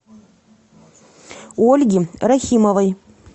ольги рахимовой